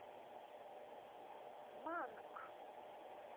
манг